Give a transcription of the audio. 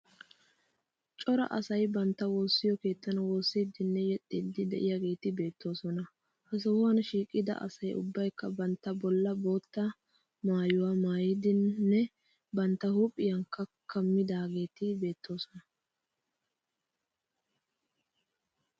Cora asay bantta woossiyo keettan woossiiddinne yexxiiddi de'iyageeti beettoosona. Ha sohuwan shiiqida asayi ubbayikka bantta bollan bootta maayuwa maayidinne bantta huuphiyakka kammidaageeti beettoosona.